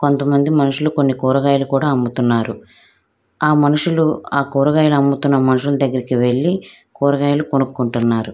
అక్కడ కొన్న బవనములు ఉన్నాయి. హా భవనములో ఒక బాణం ఒక ఐస్ క్రీం కొట్టు అలాగే ఒక సినిమా కేఫ్ ఉన్నాయ్.